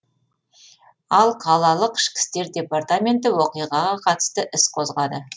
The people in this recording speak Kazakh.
ал қалалық ішкі істер департаменті оқиғаға қатысты іс қозғады